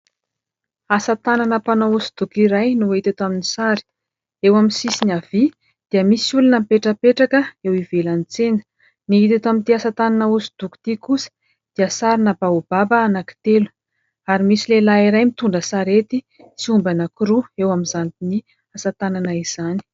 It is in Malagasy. Asa tanana mpanao hosodoko iray no hita eto amin'ny sary. Eo amin'ny sisiny havia dia misy olona mipetrapetraka eo ivelany tsena. Ny hita eto amin'ity asa tanana hosodoko ity kosa dia sarina baobaba anankitelo ary misy lehilahy iray mitondra sarety sy omby anankiroa eo amin'izany asa tanana izany.